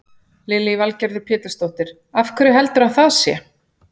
Lillý Valgerður Pétursdóttir: Af hverju heldurðu að það sé?